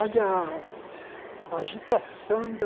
Olha, a agitação da...